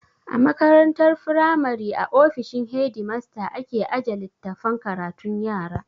A makarantar firamari a ofishin hedimasta ake aje littafan karatun yara